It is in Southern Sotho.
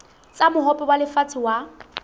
tsa mohope wa lefatshe wa